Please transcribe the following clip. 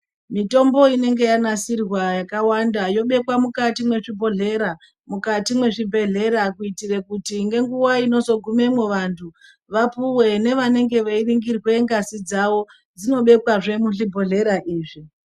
Mitombo inenge yanasirwa yakawanda yobekwa mukati mwezvibhodhlera, mukati mwezvibhehlera kuitira kuti ngenguwa inozogumemwo vantu vapuwe nevanenge veiningirwa ngazi dzavo dzinobekwazve muzvibhohlera izvi.